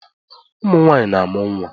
Ụmụnwanyị na-amụ nwa